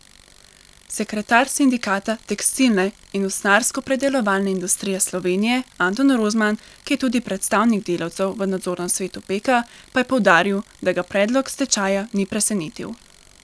Sekretar sindikata tekstilne in usnjarskopredelovalne industrije Slovenije Anton Rozman, ki je tudi predstavnik delavcev v nadzornem svetu Peka, pa je poudaril, da ga predlog stečaja ni presenetil.